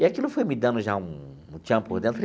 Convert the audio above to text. E aquilo foi me dando já um um tchan por dentro falei.